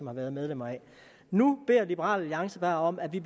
har været medlemmer af nu beder liberal alliance bare om at vi